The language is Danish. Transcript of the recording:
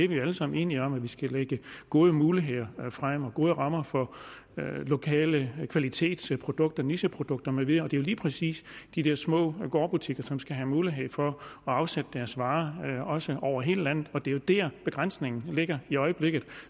vi er alle sammen enige om at vi skal lægge gode muligheder frem og gode rammer for lokale kvalitetsprodukter nicheprodukter med videre det er jo lige præcis de der små gårdbutikker som skal have mulighed for at afsætte deres varer også over hele landet og det er der begrænsningen ligger i øjeblikket